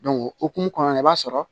o hokumu kɔnɔna na i b'a sɔrɔ